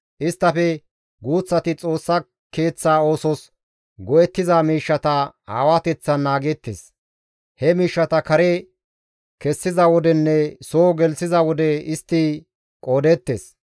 Isttafe guuththati Xoossa Keeththa oosos go7ettiza miishshata aawateththan naageettes; he miishshata kare kessiza wodenne soo gelththiza wode istti qoodeettes.